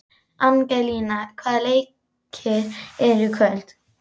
Angelína, hvaða leikir eru í kvöld?